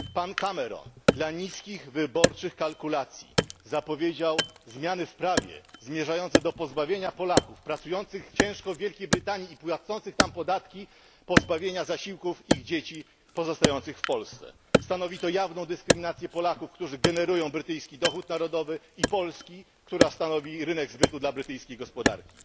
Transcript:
Pan Cameron dla niskich wyborczych kalkulacji zapowiedział zmiany w prawie zmierzające do pozbawienia Polaków pracujących ciężko w Wielkiej Brytanii i płacących tam podatki zasiłków dla ich dzieci pozostających w Polsce. Stanowi to jawną dyskryminację Polaków, którzy tworzą brytyjski dochód narodowy, i Polski, która stanowi rynek zbytu dla brytyjskiej gospodarki.